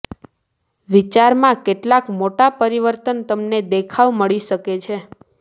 વિચાર માં કેટલાક મોટા પરિવર્તન તમને દેખવા મળી શકે છે